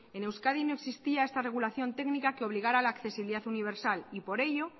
en euskadi no existía esta regulación técnica que obligara a la accesibilidad universal y por ello